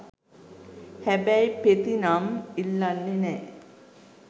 හැබැයි පෙති නම් ඉල්ලන්නෙ නෑ